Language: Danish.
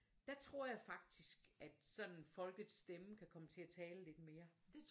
Der tror jeg faktisk at sådan folkets stemme kan komme til at tale lidt mere